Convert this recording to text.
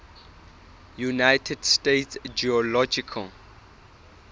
united states geological